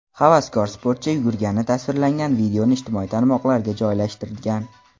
Havaskor-sportchi yugurgani tasvirlangan videoni ijtimoiy tarmoqlarga joylashtirgan.